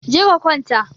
Je ka kwanta